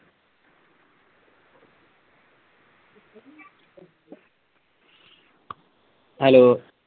hello